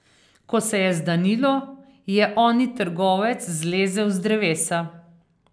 Ko se je zdanilo, je oni trgovec zlezel z drevesa.